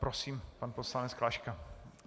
Prosím, pan poslanec Klaška.